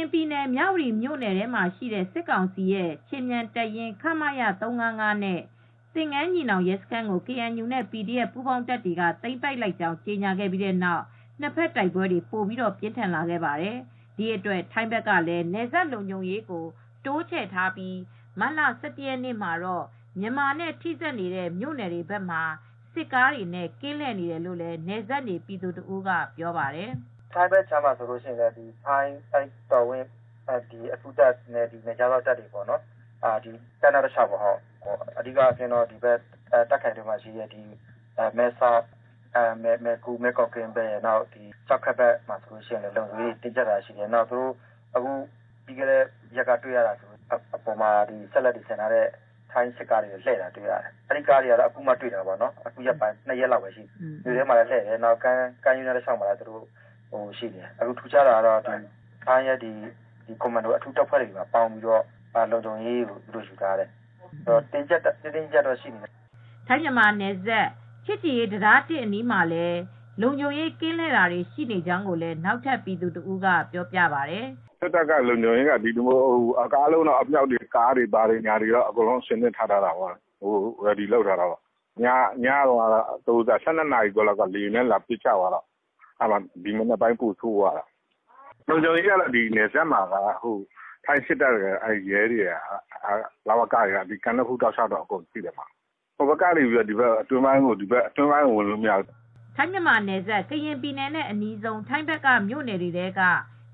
ရင်ပြည်နယ်၊ မြဝတီမြို့နယ်မှာရှိတဲ့စစ်ကောင်စီရဲ့ ခြေမြန်တပ်ရင်း ခမရ ၃၅၅ နဲ့ သင်္ကန်းညီနောင်ရဲစခန်းကို KNU နဲ့ PDF ပူးပေါင်းတပ်တွေကသိမ်းပိုက်လိုက်ကြောင်း ကြေငြာခဲ့ပြီးတဲ့နောက် နှစ်ဖက်တိုက်ပွဲတွေပိုပြီး ပြင်းထန်ခဲ့ပါတယ်။ဒီအတွက်ထိုင်းဘက်ကလည်း နယ်စပ်လုံခြုံရေးကို တိုးချဲချထားပြီးမတ်လ ၁၁ရ်ကနေ့မှာတော့ မြန်မာနဲ့ထိစပ်နေတဲ့မြို့နယ်တွေ ဘက်မှာ စစ်ကားတွေနဲ့ကင်းလှည့်နေတယ်လို့ နယ်စပ်နေပြည်သူတဦးကပြောပါတယ်။ "ထိုင်းဘက်ခြမ်းမှာဆိုရင် ထိုင်းတော်ဝင်အထူးတပ်နဲ့နယ်ခြားစောင့်တပ်တွေက ကမ်းနားတလျောက်ပေါ့ အဓီကတာခ်ခရိုင်ထဲမှာရှိတဲ့ မဲဆောက် မယ့်ကိုကင်း မယ်ကု ကျောက်ခက်ဘက်မှာလုံခြုံရေးတွေတင်းကျပ်ထားတာတွေ့ရတယ်။ အဓိက တွေ့တာက ကားပေါ်မှာ စက်လက် (လက်နက်တွေ)ဆင်ထားတဲ့စစ်ကားတွေကိုတွေ့ရတယ်၊ အဲဒီကားတွေကတော့အခုရက်ပိုင်းမှာပဲတွေရတယ် ၂ရက်လောက်ပဲရှိသေးတယ် ၊ ထူးခြားတာကတော့ထိုင်းရဲ့ ကွန်မန်ဒိုတပ်ဖွဲ့တွေနဲ့ပေါင်းပြီး လုံခြုံရေးကိုယူထားတယ် ၊တင်းတင်းကျပ်ကျပ်တော့ရှိတယ်" ထိုင်းမြန်မာနယ်စပ် ချစ်ကြည်ရေးတံတား(၁)အနီးမှာလည်း လုံခြုံရေးကင်းလှည့်နေတာတွေ ရှိနေကြောင်းကိုလည်း နောက်ထပ်ပြည်သူတဦးကပြောပြပါတယ်။ "စစ်တပ်ကလုံခြုံရေးအရ အားလုံး ကားတွေ အမြှောက်ပါတဲ့ကားတွေ အဆင်သင့်ထားတာပေါ့ Ready လုပ်ထားတာပေါ့၊ မနေ့ညက ၁၂နာရီကျော်က လေကြောင်းကပစ်တာရှိတော့ ဒီမနက်တော့ထိုင်းဘက်ကပိုဆိုးသွားတယ် လုံခြုံရေးကိုတင်းကျပ်တာပေါ့ ၊ လုံခြုံရေးကတော့ စစ်တပ်ရယ်၊ ရဲရယ်၊ လ၀ကရယ်က ကမ်းနဖူးတလျှောက်အကုန်ရှိတယ်၊ ဟိုဘက်က နေ အတွင်းပိုင်းတွေကိုတော့ဝင်လို့မရဘူး" ထိုင်းမြန်မာနယ်စပ် ကရင်ပြည်နယ်နဲ့အနီးဆုံး ထိုင်းဘက်က မြို့နယ်တွေထဲက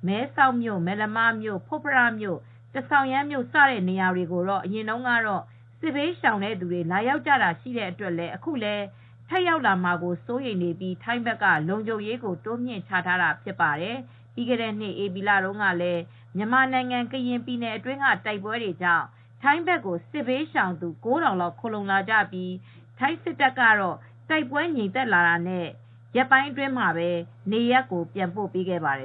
မဲဆောက်မြို့၊ မယ်လမတ်မြို့၊ ဖွတ်ဖရမြို့၊ ထမ်ဆောင်ယမ်းမြို့ စတဲ့ နေရာတွေကိုအရင်တုန်းကတော့ စစ်ဘေးရှောင်သူတွေလာရောက်ကြတာရှိတဲ့အတွက်လည်း အခုလည်းထပ်ရောက်လာမှာကိုစိုးရိမ်ပြီး ထိုင်းဘက်ကလုံခြုံရေးတွေကိုတိုးမြှင့်ချထားတာဖြစ်ပါတယ်။ပြီးခဲတဲ့နှစ် ဧပြီလတုန်းကလည်း မြန်မာနိုင်ငံကရင်ပြည်နယ်အတွင်းကတိုက်ပွဲတွေကြောင့် ထိုင်းဘက်ကို စစ်ဘေးရှောင်သူ ၉ထောင်လောက်ခိုလှုံလာကြပြီး ထိုင်းစစ်တပ်ကတော့ တိုက်ပွဲငြိမ်သက်တာနဲ့ ရက်ပိုင်းအတွင်းမှာပဲ နေရပ်ကိုပြန်ပို့ခဲ့ပါတယ